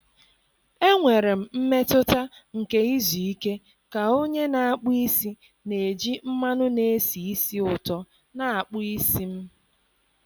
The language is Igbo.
Enwere m mmetụta nke izu ike ka onye na-akpụ isi na-eji mmanụ na-esi ísì ụtọ na-akpụ isi m.